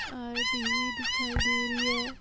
और टी.वी. दिखाई दे रही है।